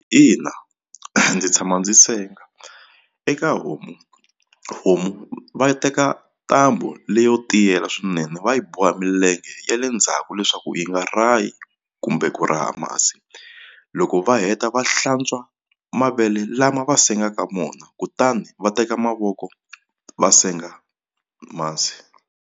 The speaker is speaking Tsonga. Ina ndzi tshama ndzi senga eka homu homu va teka ntambu leyo tiyela swinene va yi boha milenge ya le ndzhaku leswaku yi nga rahi kumbe ku raha masi loko va heta va hlantswa mavele lama va sengaku vona kutani va teka mavoko va senga masi.